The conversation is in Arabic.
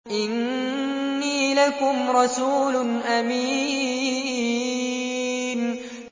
إِنِّي لَكُمْ رَسُولٌ أَمِينٌ